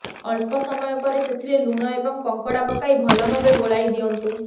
ଅଳ୍ପ ସମୟ ପରେ ସେଥିରେ ଲୁଣ ଏବଂ କଙ୍କଡ଼ା ପକାଇ ଭଲ ଭାବେ ଗୋଳାଇ ଦିଅନ୍ତୁ